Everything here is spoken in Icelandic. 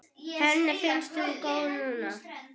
Henni finnst hún góð núna.